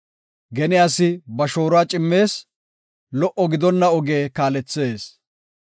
Gene asi ba shooruwa cimmees; lo77o gidonna oge kaalethees.